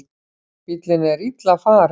Bíllinn er illa farinn